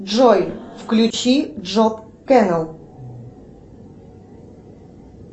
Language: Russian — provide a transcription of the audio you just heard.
джой включи джоб кэнал